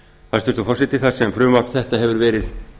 hæstvirtur forseti þar sem frumvarp þetta hefur verið